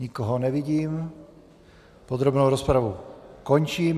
Nikoho nevidím, podrobnou rozpravu končím.